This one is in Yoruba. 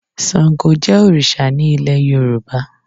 Sàngó jẹ́ òrìṣà ní ilé Yorùbá.